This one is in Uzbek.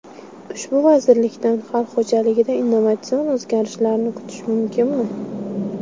Ushbu vazirlikdan xalq xo‘jaligida innovatsion o‘zgarishlarni kutish mumkinmi?